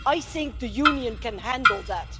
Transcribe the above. I think the Union can handle that.